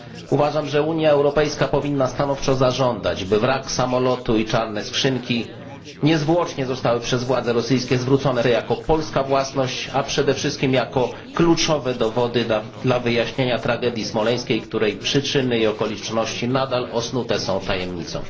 Uważam, że Unia Europejska powinna stanowczo zażądać, by wrak samolotu i czarne skrzynki zostały niezwłocznie zwrócone Polsce przez władze rosyjskie jako polska własność, a przede wszystkim jako kluczowe dowody dla wyjaśnienia tragedii smoleńskiej, której przyczyny i okoliczności nadal osnute są tajemnicą.